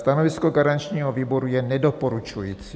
Stanovisko garančního výboru je nedoporučující.